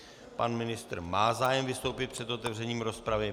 Pan ministr má zájem vystoupit před otevřením rozpravy.